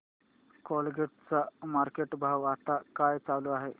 Colgate चा market भाव आता काय चालू आहे